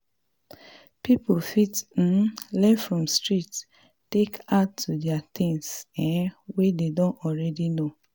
pipo fit um learn from street take add to di things um wey dem don already know